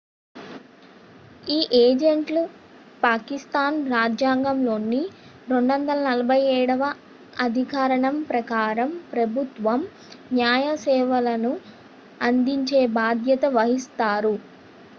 ఈ ఏజెంట్లు పాకిస్థాన్ రాజ్యాంగంలోని 247 వ అధికరణం ప్రకారం ప్రభుత్వ న్యాయ సేవలను అందించే బాధ్యత వహిస్తారు